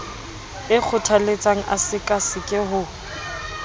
e kgothaletsang a sekaseke ho